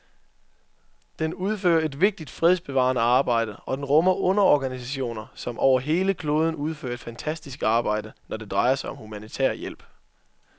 Den udfører et vigtigt fredsbevarende arbejde, og den rummer underorganisationer, som over hele kloden udfører et fantastisk arbejde, når det drejer sig om humanitær hjælp.